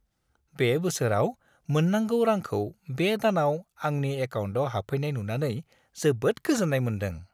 बे बोसोराव मोननांगौ रांखौ बे दानाव आंनि एकाउन्टाव हाबफैनाय नुनानै जोबोद गोजोन्नाय मोनदां।